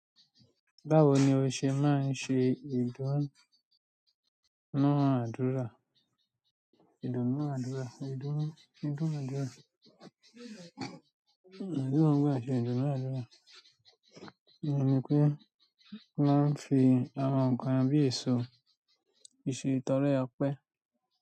Báwo ni o ṣe máa ń ṣe ìdúnnú àdúrà? Ìdúna dúrà, ìdúna, ìdúnú dúrà. Iduna dura ti e ni wàhálà. Mo mọ̀ pé wón máa ń fi àwọn nǹkan bíi èso, fi se ìtọ́rẹ opẹ́.